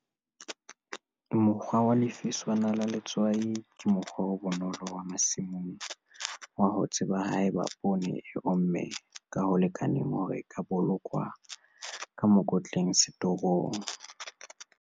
Mokgwa wa Lefiswana la Letswai ke mokgwa o bonolo wa masimong wa ho tseba haeba poone e omme ka ho lekaneng hore e ka bolokwa ka mekotleng setorong.